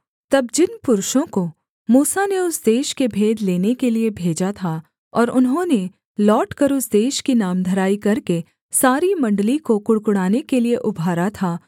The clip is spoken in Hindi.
तब जिन पुरुषों को मूसा ने उस देश के भेद लेने के लिये भेजा था और उन्होंने लौटकर उस देश की नामधराई करके सारी मण्डली को कुढ़कुढ़ाने के लिये उभारा था